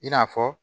I n'a fɔ